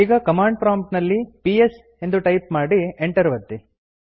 ಈಗ command prompt ನಲ್ಲಿ psಎಂದು ಟೈಪ್ ಮಾಡಿ ಎಂಟರ್ ಒತ್ತಿ